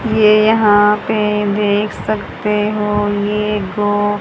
ये यहां पे देख सकते हो ये गो--